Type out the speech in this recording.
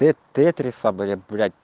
те тетрис бы блять